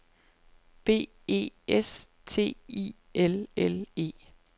B E S T I L L E